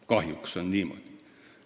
Kahjuks on niimoodi.